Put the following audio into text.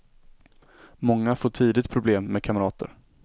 Många får tidigt problem med kamrater.